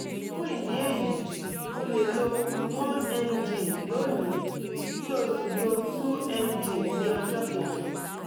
fún ìdí èyí o lè lo one mg lónìí kí o sì lo two mg ní ọjọ́ kejì